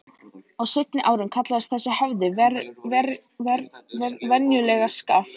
Á seinni árum kallaðist þessi höfði venjulega Skaft.